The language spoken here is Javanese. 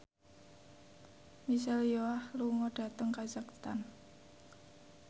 Michelle Yeoh lunga dhateng kazakhstan